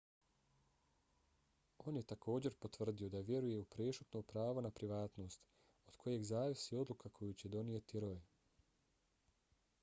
on je također potvrdio da vjeruje u prešutno pravo na privatnost od kojeg zavisi odluka koju će donijeti roe